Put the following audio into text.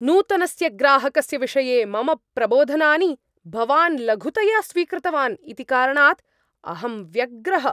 नूतनस्य ग्राहकस्य विषये मम प्रबोधनानि भवान् लघुतया स्वीकृतवान् इति कारणाद् अहं व्यग्रः।